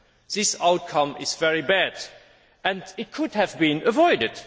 This outcome is very bad and it could have been avoided.